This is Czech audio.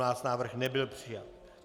Návrh nebyl přijat.